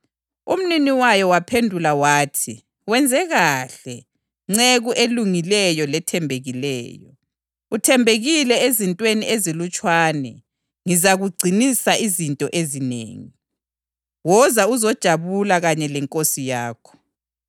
Umnini wayo waphendula wathi, ‘Wenze kuhle, nceku elungileyo lethembekileyo! Uthembekile ezintweni ezilutshwane; ngizakugcinisa izinto ezinengi. Woza uzojabula kanye lenkosi yakho!’